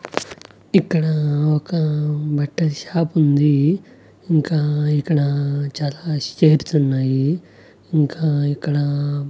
ఇక్కడ ఒక బట్టల షాపుంది ఇంకా ఇక్కడ చాలా షేడ్స్ ఉన్నాయి ఇంకా ఇక్కడ--